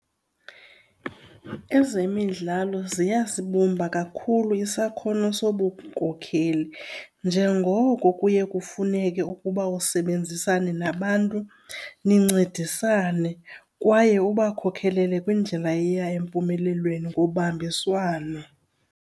Ezemidlalo ziyasibumba kakhulu isakhono sobunkokheli njengoko kuye kufuneke ukuba usebenzisana nabantu nincedisane kwaye ubakhokelele kwindlela eya empumelelweni ngobambiswano.